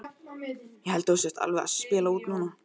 Ég held að þú sért alveg að spila út núna!